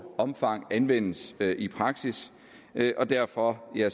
omfang anvendes i praksis og derfor har